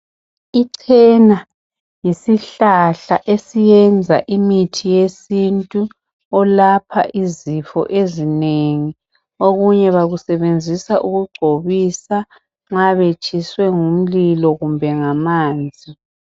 Ichena yisihlahla esiyenza imithi yesintu olapha izifo ezinengi okunye bakusebenzisa ukugcobisa nxa betshiswe ngumlilo kumbe ngamanzi.